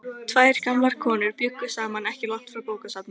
Tvær gamlar konur bjuggu saman ekki langt frá bókasafninu.